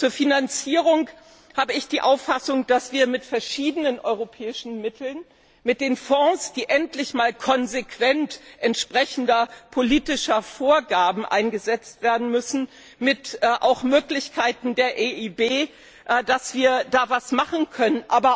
Zur Finanzierung habe ich die Auffassung, dass wir mit verschiedenen europäischen Mitteln, mit den Fonds, die endlich einmal konsequent entsprechend der politischen Vorgaben eingesetzt werden müssen, auch mit Möglichkeiten der EIB, da etwas tun können.